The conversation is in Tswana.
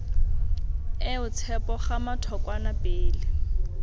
eo tshepo gama thokwana pele